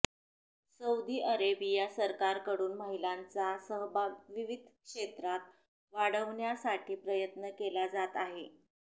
Saudi Arabia सरकारकडून महिलांचा सहभाग विविध क्षेत्रात वाढवण्यासाठी प्रयत्न केला जात आहे